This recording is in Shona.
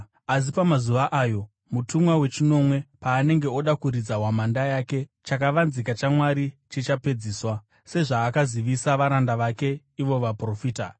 Asi pamazuva ayo mutumwa wechinomwe paanenge oda kuridza hwamanda yake, chakavanzika chaMwari chichapedziswa, sezvaakazivisa varanda vake ivo vaprofita.”